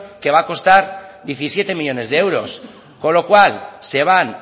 que va a costar diecisiete millónes de euros con lo cual se van